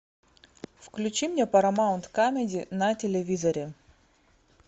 включи мне парамаунт камеди на телевизоре